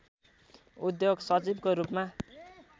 उद्योग सचिवको रूपमा